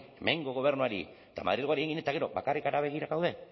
hemengo gobernuari eta madrilgoari egin eta gero bakarrik hara begira gaude